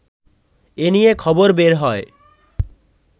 এ নিয়ে খবর বের হয়